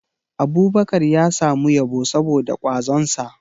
Abubakar ya samu yabo saboda kwazonsa